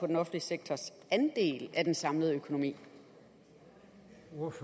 den offentlige sektors andel af den samlede økonomi